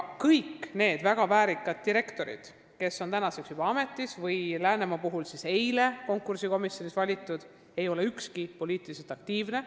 Kõikidest nendest väga väärikatest direktoritest, kes on juba ametis või kes eile Läänemaal konkursikomisjonis ametisse valiti, ükski ei ole poliitiliselt aktiivne.